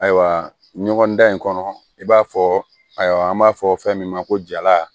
Ayiwa ɲɔgɔndan in kɔnɔ i b'a fɔ ayiwa an b'a fɔ fɛn min ma ko jala